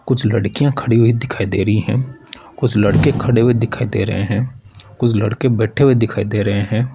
कुछ लड़कियां खड़ी हुई दिखाई दे रही हैं कुछ लड़के खड़े हुए दिखाई दे रहे हैं कुछ लड़के बैठे हुए दिखाई दे रहे हैं।